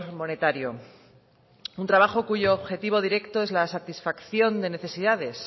monetario un trabajo cuyo objetivo directo es la satisfacción de necesidades